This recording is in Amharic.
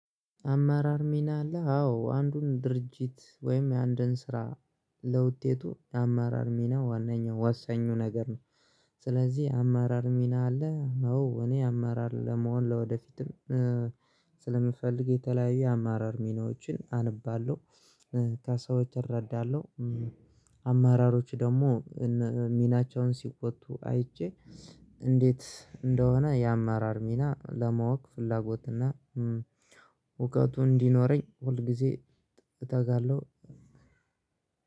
"አመራር ሚና አለ?" አዎ። አንዱን ድርጅት ወይም የአንድን ስራ ለውጤቱ የአመራር ሚና ዋናኛው ወሰኙ ነገር ነው። ስለዚህ "አማራር ሚና አለ?" አዎ። እኔ አመራር ለመሆን ለወደፊትም ስለምፈልግ የተለያዩ የአመራር ሚናዎችን አነባለሁ፤ ከሰዎች እረዳለሁ። አመራሮች ደግሞ ሚናቸውን ሲወጡ አይቼ እንደሆነ የአማራር ሚና ለማወቅ ፍላጎት እና እውቀቱ እንዲኖረኝ ሁል ጊዜ እተጋለሁ።